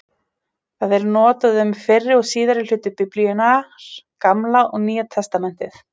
Það er notað um fyrri og síðari hluta Biblíunnar, Gamla og Nýja testamentið.